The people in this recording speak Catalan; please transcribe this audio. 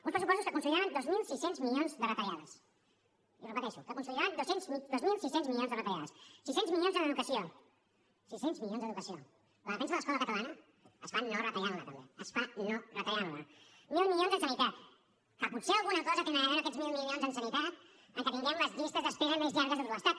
uns pressupostos que consolidaven dos mil sis cents milions de retallades i ho repeteixo que consolidaven dos mil sis cents milions de retallades sis cents milions en educació sis cents milions d’educació la defensa de l’escola catalana es fa no retallant la també es fa no retallant la mil milions en sanitat que potser alguna cosa hi tenen a veure aquests mil milions en sanitat amb que tinguem les llistes d’espera més llargues de tot l’estat